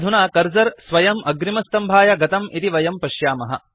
अधुना कर्सर स्वयम् अग्रिमस्तम्भाय गतं इति वयं पश्यामः